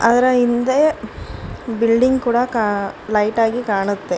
ಅದರ ಹಿಂದೆ ಬಿಲ್ಡಿಂಗ್ ಕೂಡ ಕ ಲೈಟಾ ಗಿ ಕಾಣುತ್ತೆ.